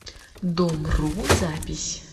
домру запись